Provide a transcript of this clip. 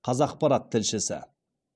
қазақпарат тілшісі